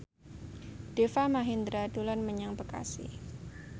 Deva Mahendra dolan menyang Bekasi